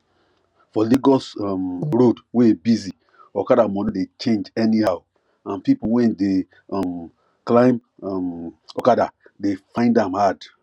for lagos um road wey busy okada money dey change anyhow and people wey dey um climb um okada dey find am hard